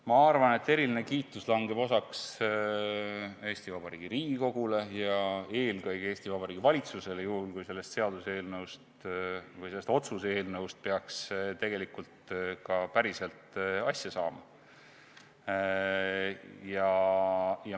Ma arvan, et eriline kiitus langeb osaks Eesti Vabariigi Riigikogule ja eelkõige Eesti Vabariigi valitsusele, juhul kui sellest otsuse eelnõust peaks ka päriselt asja saama.